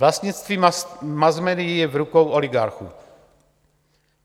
Vlastnictví masmédií je v rukou oligarchů.